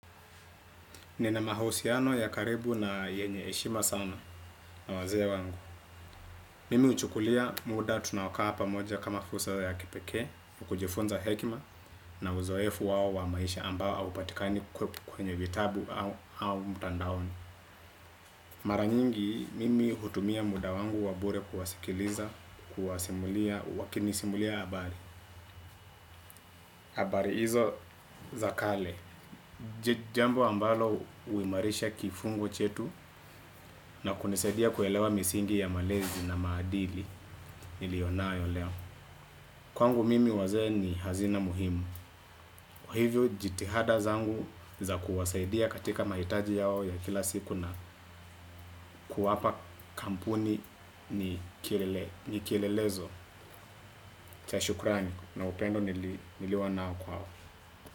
Nina mahusiano ya karibu na yenye heshima sana na wazee wangu. Mimi huchukulia muda tunaokaa pamoja kama fursa ya kipeeke kujifunza hekima na uzoefu wao wa maisha ambao haupatikani kwenye vitabu au mtandaoni. Mara nyingi mimi hutumia muda wangu wa bure kuwasikiliza, kuwasimulia wakinisimulia habari. Habari hizo za kale. Jambo ambalo huimarisha kifungo chetu na kunisaidia kuelewa misingi ya malezi na maadili niliyo nayo leo. Kwangu mimi wazee ni hazina muhimu. Hivyo jitihada zangu za kuwasaidia katika mahitaji yao ya kila siku na kuwapa kampuni ni kielelezo. Cha shukurani na upendo nilionao kwao.